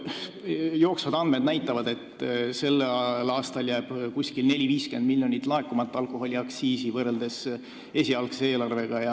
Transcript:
Jooksvad andmed näitavad, et sellel aastal jääb umbes 40–50 miljonit eurot alkoholiaktsiisi laekumata võrreldes esialgse eelarvega.